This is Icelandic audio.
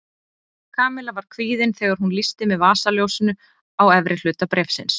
Kamilla var kvíðin þegar hún lýsti með vasaljósinu á efri hluta bréfsins.